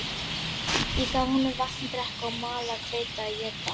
Ég gaf honum vatn að drekka og malað hveiti að éta